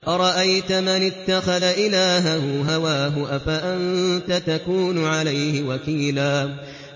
أَرَأَيْتَ مَنِ اتَّخَذَ إِلَٰهَهُ هَوَاهُ أَفَأَنتَ تَكُونُ عَلَيْهِ وَكِيلًا